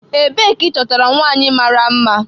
Ebee ka ịchọtara nwanyị mara mma?